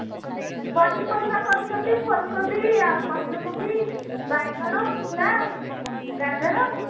ପନିପରିବା କରୁଛନ୍ତି ଫୁଲକୋବି ପତ୍ରକୋବି ବାଇଗଣ ମୂଳା ଗାଜର